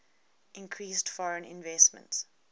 increased foreign investment